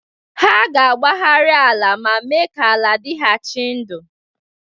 Ha ga-agbagharị ala ma mee ka ala dịghachi ndụ.